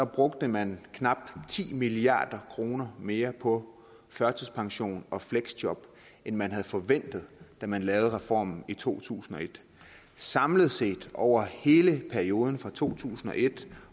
brugte man knap ti milliard kroner mere på førtidspension og fleksjob end man havde forventet da man lavede reformen i to tusind og et samlet set over hele perioden fra to tusind og et